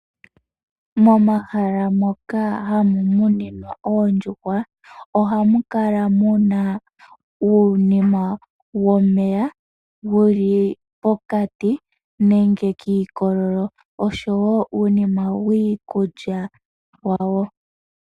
Momahala moka hamu muninwa oondjuhwa, ohamu kala muna uunima wo meya, wu li pokati, nenge kiikololo. Oshowo uunima wiikulya wawo.